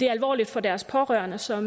det er alvorligt for deres pårørende som